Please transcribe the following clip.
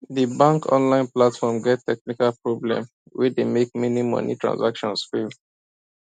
the bank online platform get technical problem wey dey make many money transactions fail